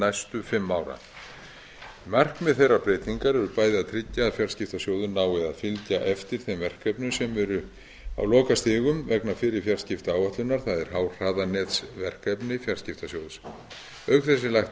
næstu fimm ára markmið þeirrar breytingar eru bæði að tryggja að fjarskiptasjóður nái að fylgja eftir þeim verkefnum sem eru á lokastigum vegna fyrri fjarskiptaáætlunar það er háhraðanetsverkefni fjarskiptasjóð auk þess er lagt